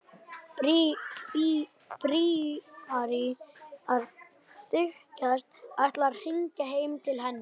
Bríarí að þykjast ætla að hringja heim til hennar.